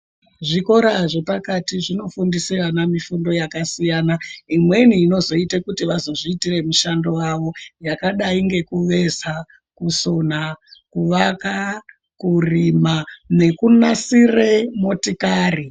Zvikora zvepakati zvinofundisa vana mifundo yakasiyana. Imweni inozoita kuti vazozviitira mushando wavo. Yakadai ngekuveza, kusona, kuvaka, kurima nekunasire motikari.